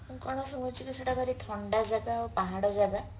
ମୁଁ କଣ ଶୁଣିଥିଲି ସେଟା ଭାରି ଥଣ୍ଡା ଜାଗା ଆଉ ପାହାଡ ଜାଗା